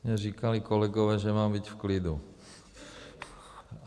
Mně říkali kolegové, že mám být v klidu.